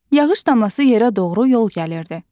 Yağış damlası yerə doğru yol gəlirdi.